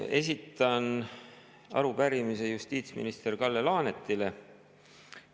Esitan arupärimise justiitsminister Kalle Laanetile.